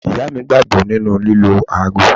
Ìyá mi gbàgbọ́ nínú lílọ àgbo.